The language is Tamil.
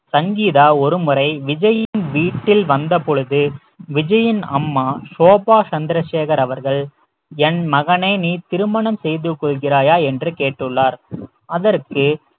சங்கீதா ஒருமுறை விஜயின் வீட்டில் வந்த பொழுது விஜயின் அம்மா சோபா சந்திரசேகர் அவர்கள் என் மகனை நீ திருமணம் செய்து கொள்கிறாயா என்று கேட்டுள்ளார் அதற்கு